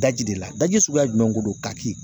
Daji de la daji suguya jumɛn de don ka ki